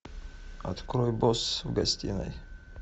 открой босс в гостиной